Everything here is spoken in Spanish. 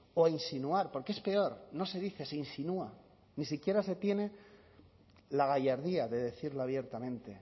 o insinuar porque es peor no se dice se insinúa ni siquiera se tiene la gallardía de decirlo abiertamente